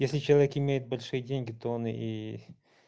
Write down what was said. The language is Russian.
если человек имеет большие деньги то он и